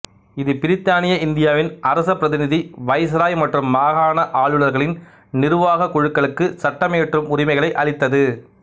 இது பிரித்தானிய இந்தியாவின் அரச பிரதிநிதி வைஸ்ராய் மற்றும் மாகாண ஆளுனர்களின் நிருவாகக் குழுக்களுக்கு சட்டமியற்றும் உரிமைகளை அளித்தது